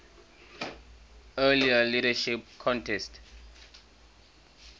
earlier leadership contest